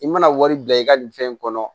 I mana wari bila i ka nin fɛn in kɔnɔ